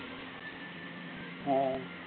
ஆஹ்